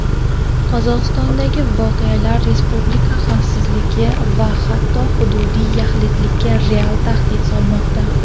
Qozog‘istondagi voqealar respublika xavfsizligi va hatto hududiy yaxlitligiga real tahdid solmoqda.